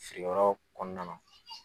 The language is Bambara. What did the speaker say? Feerekɛ yɔrɔ kɔnɔna na.